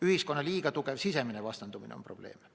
Ühiskonna liiga tugev sisemine vastandumine on probleem.